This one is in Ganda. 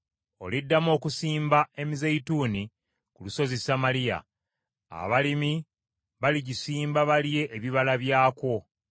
Oliddamu okusimba emizabbibu ku lusozi Samaliya, abalimi baligisimba balye ebibala byakwo.